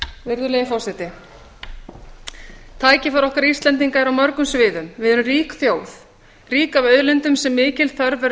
virðulegi forseti tækifæri okkar íslendinga eru á mörgum sviðum við erum rík þjóð rík af auðlindum sem mikil þörf verður